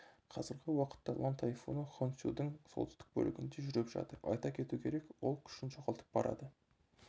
қазіргі уақытта лан тайфуны хонсюдың солтүстік бөлігінде жүріп жатыр айта кету керек ол күшін жоғалтып барады